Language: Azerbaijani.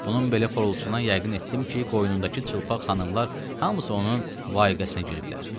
Bunun belə xorultusundan yəqin etdim ki, qoynundakı çılpaq xanımlar hamısı onun vayiqəsinə giriblər.